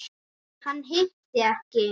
Hann hitti ekki.